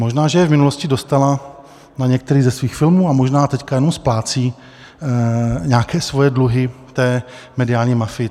Možná že je v minulosti dostala na některý ze svých filmů a možná teď jenom splácí nějaké svoje dluhy té mediální mafii.